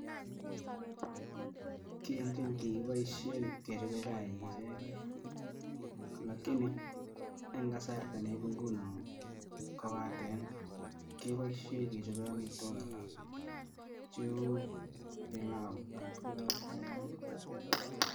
Kii en keny kikiboishen kechoben chaik icheken lakini eng' kasarieb ing'unon kobaten keboishen kechoben amitwokik alak cheuu bilau ak tukuk alak .